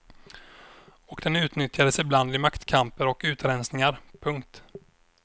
Och den utnyttjades ibland i maktkamper och utrensningar. punkt